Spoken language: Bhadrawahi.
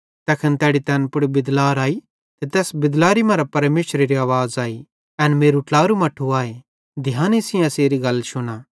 तैखन तैड़ी तैन पुड़ बिदलार आई ते तैस बिदलारी मरां परमेशरेरी आवाज़ आई एन मेरू ट्लारू मट्ठू आए ध्याने सेइं एसेरी गल शुना